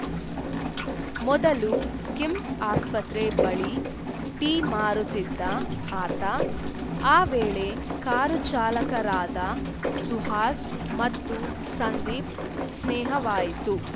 ಮೊದಲು ಕಿಮ್ಸ್‌ ಆಸ್ಪತ್ರೆ ಬಳಿ ಟೀ ಮಾರುತ್ತಿದ್ದ ಆತ ಆ ವೇಳೆ ಕಾರು ಚಾಲಕರಾದ ಸುಹಾಸ್‌ ಮತ್ತು ಸಂದೀಪ್‌ ಸ್ನೇಹವಾಯಿತು